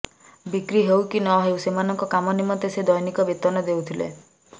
ବିକ୍ରି ହେଉ କି ନ ହେଉ ସେମାନଙ୍କ କାମ ନିମନ୍ତେ ସେ ଦୈନିକ ବେତନ ଦେଉଥିଲେ